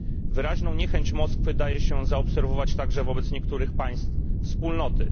Wyraźną niechęć Moskwy daje się zaobserwować także wobec niektórych państw Wspólnoty.